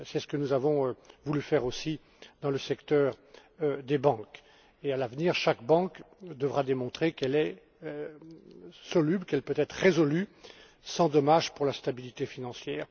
C'est ce que nous avons voulu faire aussi dans le secteur des banques. À l'avenir, chaque banque devra démontrer qu'elle peut être résolue sans dommage pour la stabilité financière.